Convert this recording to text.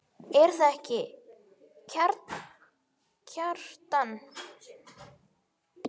Er það ekki, Kjartan?